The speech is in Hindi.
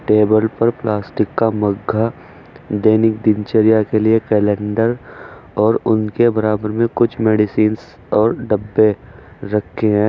टेबल पर प्लास्टिक का मगा दैनिक दिनचर्या के लिए कैलेंडर और उनके बराबर में कुछ मेडिसिंस और डब्बे रखे हैं।